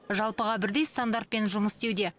жалпыға бірдей стандартпен жұмыс істеуде